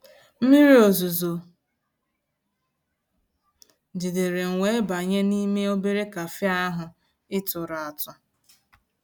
mmírí ọ̀zuzọ̀ jìdéré m wéé bànyé n'ímé òbérè cafe ahụ́ ị̀ tụ̀rụ́ àtụ́.